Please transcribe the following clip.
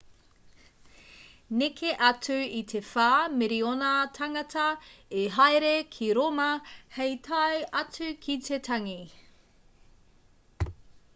neke atu i te whā miriona tāngata i haere ki rōma hei tae atu ki te tangi